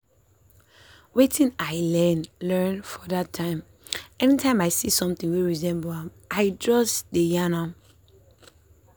wetin i learn learn for that time any time i see something wey resemble am i just dey yan am.